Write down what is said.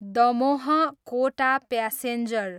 Damoh, Kota passenger